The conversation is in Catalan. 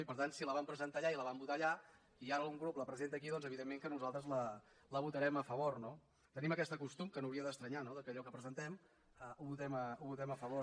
i per tant si la van presentar allà i la vam votar allà i ara un grup la presenta aquí doncs evidentment que nosaltres la votarem a favor no tenim aquest costum que no hauria d’estranyar no que allò que presentem ho votem a favor